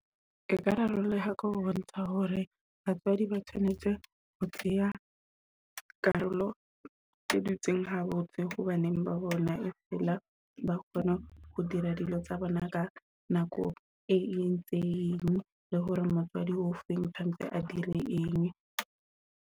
Eka rarolleha ka ho bontsha hore batswadi ba tshwanetse ho tseya karolo tse dutseng habotse ho baneng ba bona feela ba kgone ho dira dilo tsa bona ka nako e entseng, le hore motswadi o feng tshwantse a dire eng.